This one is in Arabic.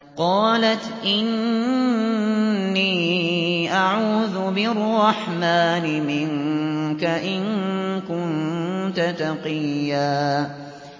قَالَتْ إِنِّي أَعُوذُ بِالرَّحْمَٰنِ مِنكَ إِن كُنتَ تَقِيًّا